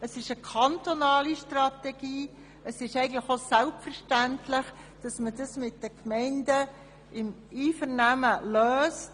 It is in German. Es ist eine kantonale Strategie, und es ist selbstverständlich, dass man das im Einvernehmen mit den Gemeinden löst.